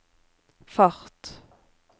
fart